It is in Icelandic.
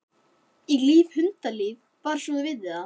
Ég lifi hundalífi, bara svo þú vitir það.